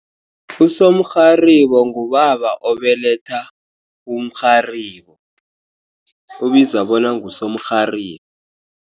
Usomrharibo ngubaba obeletha umrharibo. Ubizwa bona ngusomrhibo.